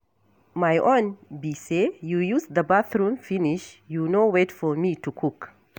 My own be say you use the bathroom finish you no wait for me to cook.